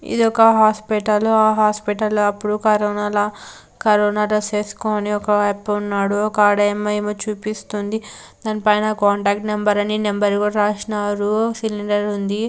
ఇది ఒక హాస్పటల్ ఆ హాస్పటల్ లో అప్పుడు కరోనాల కరోనా డ్రెస్ వేసుకొని ఒక వైపు ఉన్నాడు. ఒక ఆడామె ఏమో చూపిస్తుంది దానిపైన కాంటాక్ట్ నెంబర్ అని నెంబర్ కూడా రాసినారు సిలిండర్ ఉంది.